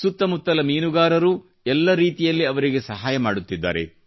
ಸುತ್ತ ಮುತ್ತಲ ಮೀನುಗಾರರೂ ಎಲ್ಲ ರೀತಿಯಲ್ಲಿ ಅವರಿಗೆ ಸಹಾಯ ಮಾಡುತ್ತಿದ್ದಾರೆ